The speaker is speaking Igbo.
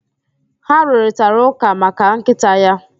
Ha rụrịtaraụ́kà maka nkịta ya.